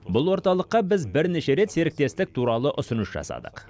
бұл орталыққа біз бірнеше рет серіктестік туралы ұсыныс жасадық